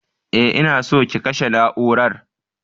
E, ina so ki kashe na'urar.